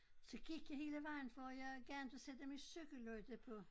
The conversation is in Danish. Så gik jeg hele vejen for jeg gad inte sætte min cykellygte på